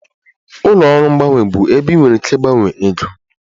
Ụlọ ọrụ mgbanwe bụ ebe ị nwere ike ịgbanwe ego